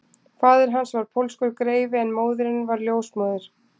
Faðir hans var pólskur greifi en móðirin var ljósmóðir